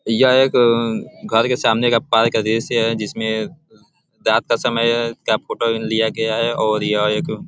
यह एक घर के सामने के पार्क का दृश्य है जिसमे रात का समय है का फोटो लिया गया है और यह एक --